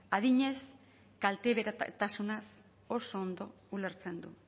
adinez kalteberatasunaz oso ondo ulertzen du